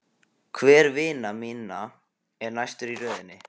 Hver vina minna er næstur í röðinni?